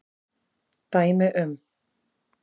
Dæmi um